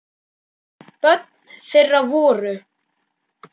Börn þeirra voru